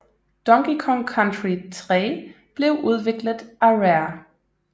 Donkey Kong Country 3 blev udviklet af Rare